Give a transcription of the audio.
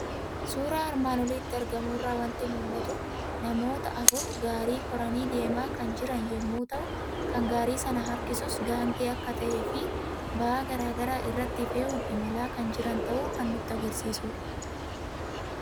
Suuraa armaan olitti argamu irraa waanti mul'atu; namoota afur Gaarii koranii deemaa kan jiran yommuu ta'u, kan gaarii sana harkisuus Gaangee akka ta'efi ba'aa garaagaraa irratti fe'uun imalaa kan jiran ta'uu kan nutti agarsiisudha.